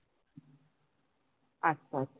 আচ্ছা